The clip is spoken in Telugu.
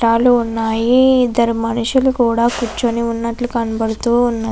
వున్నయి ఇదరు మనుషులు కూడా కురుచొని వున్నట్లు కనభడుతూ ఉన్నాయి.